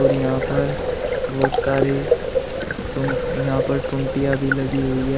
यहां पर बहोत सारे टूं यहां पर टुंटीया भी लगी हुई है।